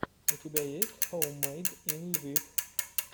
у тебя есть хоуммэйд ин лвив